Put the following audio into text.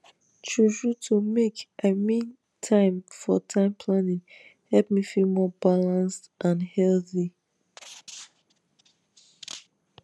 truetrue to makei mean time for time planning help me feel more balanced and healthy